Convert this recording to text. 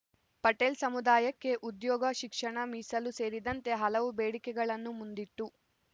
ಪಟೇಲ್‌ ಸಮುದಾಯಕ್ಕೆ ಉದ್ಯೋಗ ಶಿಕ್ಷಣ ಮೀಸಲು ಸೇರಿದಂತೆ ಹಲವು ಬೇಡಿಕೆಗಳನ್ನು ಮುಂದಿಟ್ಟು